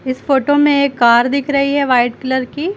इस फोटो में एक कार दिख रही है वाइट कलर की।